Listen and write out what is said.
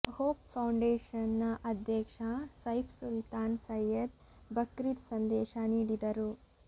hope ಫೌಂಡೇಶನ್ನ ಅಧ್ಯಕ್ಷ ಸೈಫ್ ಸುಲ್ತಾನ್ ಸೈಯದ್ ಬಕ್ರೀದ್ ಸಂದೇಶ ನೀಡಿದರು